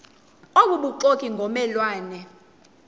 obubuxoki ngomme lwane